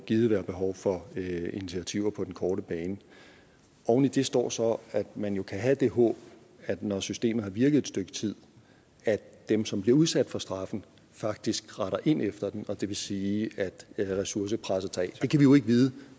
givet være behov for initiativer på den korte bane oven i det står så at man jo kan have det håb når systemet har virket stykke tid at dem som bliver udsat for straffen faktisk retter ind efter den og det vil sige at ressourcepresset tager af det kan vi jo ikke vide